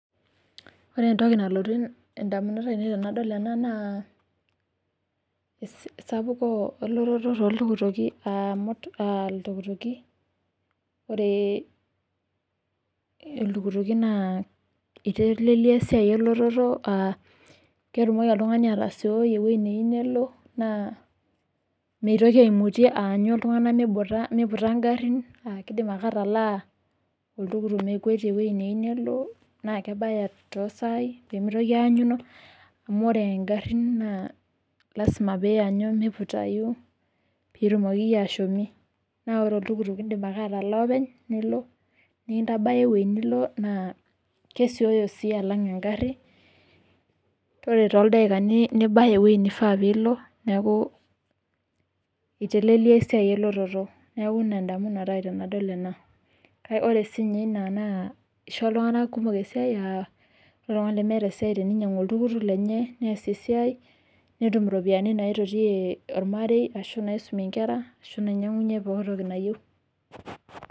Ore entoki nalotu ndamunot aainei tenedol ena naa esapuko elototo tooltukutuki aa ore iltukituki naa iteleliaa esiaai elototo as ketumoki oltung'ani atasiooi ewueji neiyieu mitoki aimutie aanyu iltung'ana miputa ngarin kidom ake atalaa oltukutuk mekwete ewueji neiyieu nelo, naa kebaya pee mitoki aanyuno, amuu ore engarri naa lasima oiyanyu miputayu piitumokiki aashom. naa ore oltukutuk indm ake atalaa openy nilo nikintabaya ewueji nilo, naa kesiooyo sii alang engarri, ore too ldaikani nibaya ewueji neifaa piilo. Neeku iteleliaa esiaai elototo tenadol ena. Ore sii ninye inaa naa keisho iltung'ana esiaai keinyang'u oltukutuk lenye, neesie esiaai, netum iropiyiani naaitotiyie ormarei, onaaisumie nkera onaainyang'unye poki toki nayieu.